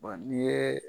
n'i ye